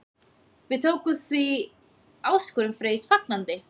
Við tókum því áskorun Freys fagnandi.